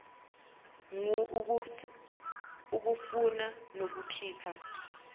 ngur ukufuna nokukhipha